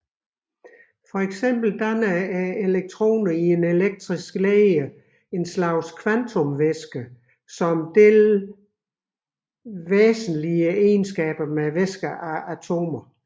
For eksempel danner elektronerne i en elektrisk leder en slags kvantumvæske der deler væsentlige egenskaber med væsker af atomer